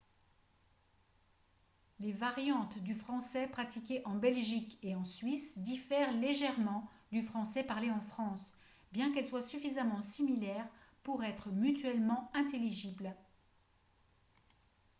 les variantes du français pratiquées en belgique et en suisse diffèrent légèrement du français parlé en france bien qu'elles soient suffisamment similaires pour être mutuellement intelligibles